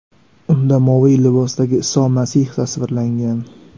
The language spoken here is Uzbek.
Unda moviy libosdagi Iso Masih tasvirlangan.